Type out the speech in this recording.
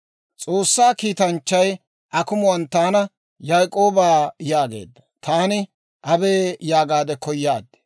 S'oossaa kiitanchchay akumuwaan taana, ‹Yaak'ooba› yaageedda; taani, abee yaagaadde koyaad.